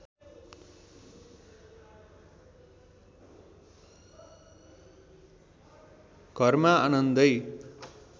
घरमा आनन्दै